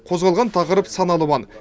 қозғалған тақырып сан алуан